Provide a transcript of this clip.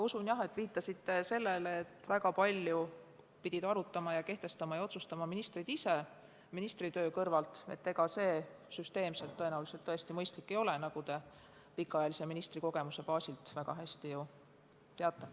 Usun, et viitasite oma küsimuses sellele, et nüüd kriisi ajal pidid väga palju arutama, kehtestama ja otsustama ministrid ise oma ministritöö kõrvalt, ning selline süsteem tõesti mõistlik ei ole, nagu te pikaajalise ministrikogemuse baasil väga hästi teate.